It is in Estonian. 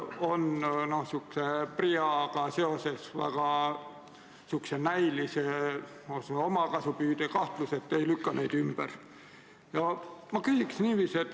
Seal on PRIA-ga seoses lausa omakasukahtlused, te ei lükka neid ümber.